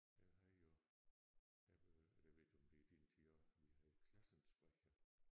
Jeg havde jo jeg jeg ved ikke om det er din tid også vi havde Klassensprecher